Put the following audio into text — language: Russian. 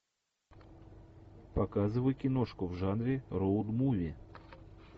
показывай киношку в жанре роуд муви